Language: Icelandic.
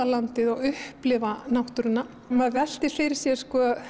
landið og upplifa náttúruna maður veltir fyrir sér